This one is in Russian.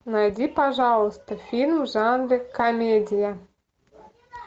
найди пожалуйста фильм в жанре комедия